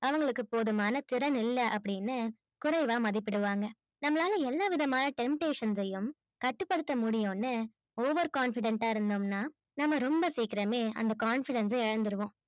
அவங்களுக்கு போதுமான திறன் இல்ல அப்பிடின்னு குறைவா மதீபிடுவாங்க நம்மளால எல்லா விதமான temptation சையும் கட்டுபடுத்த முடியும்னு over confident ஆ இருந்தோம்னா நாம்ம ரொம்ப சீக்கிரமே confidence ஸ இழந்திருவோம்